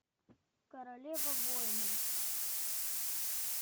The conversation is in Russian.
королева воинов